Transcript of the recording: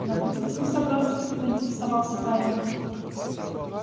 на выставку собрался поинтересовался парень